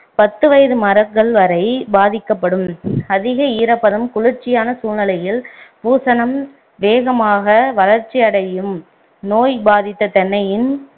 பத்து வயது மரங்கள் வரை பாதிக்கப்படும் அதிக ஈரப்பதம் குளிர்ச்சியான சூழ்நிலையில் பூசணம் வேகமாக வளர்ச்சி அடையும் நோய் பாதித்த தென்னையின்